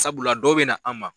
Sabula dɔw bɛ na an ma.